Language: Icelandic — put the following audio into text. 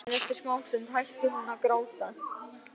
En eftir smástund hætti hún að gráta.